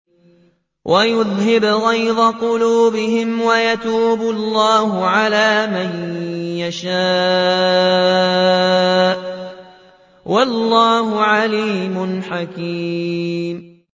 وَيُذْهِبْ غَيْظَ قُلُوبِهِمْ ۗ وَيَتُوبُ اللَّهُ عَلَىٰ مَن يَشَاءُ ۗ وَاللَّهُ عَلِيمٌ حَكِيمٌ